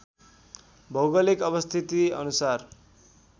भौगोलिक अवस्थिति अनुसार